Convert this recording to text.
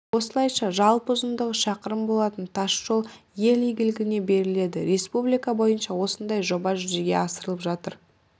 осылайша жалпы ұзындығы шақырым болатын тасжол ел игілігіне беріледі республика бойынша осындай жоба жүзеге асырылып жатыр